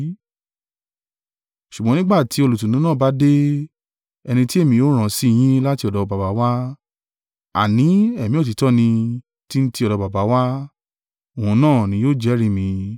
“Ṣùgbọ́n nígbà tí Olùtùnú náà bá dé, ẹni tí èmi ó rán sí yín láti ọ̀dọ̀ Baba wá, àní Ẹ̀mí òtítọ́ nì, tí ń ti ọ̀dọ̀ Baba wá, òun náà ni yóò jẹ́rìí mi.